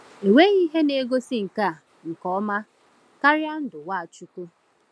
Enweghị ihe na-egosi nke a nke ọma karịa ndụ Nwachukwu.